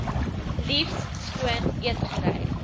liefs skoon eetgerei